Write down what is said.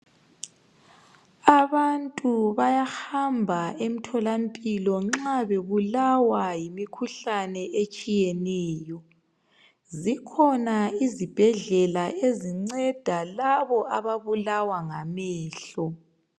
Abantu bayahamba emtholampilo nxa bebulawa yimikhuhlane etshiyeneyo, zikhona izibhedlela ezinnceda labo ababulawa ngamehlo.